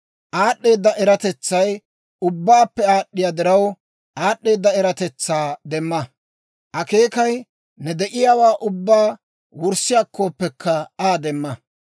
Aad'd'eeda eratetsay ubbaappe aad'd'iyaa diraw, aad'd'eeda eratetsaa demma. Akeekay ne de'iyaawaa ubbaa wurssi akkooppekka Aa demma.